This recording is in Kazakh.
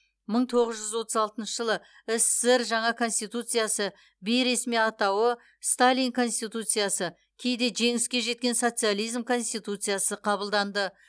мың тоғыз жүз отыз алтыншы жылы ссср жаңа конституциясы бейресми атауы сталин конституциясы кейде жеңіске жеткен социализм конституциясы қабылданды